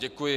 Děkuji.